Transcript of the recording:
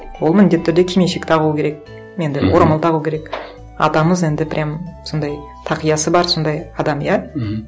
ол міндетті түрде кимешек тағуы керек енді орамал тағу керек атамыз енді прямо сондай тақиясы бар сондай адам иә мхм